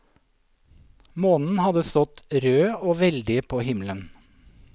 Månen hadde stått rød og veldig på himmelen.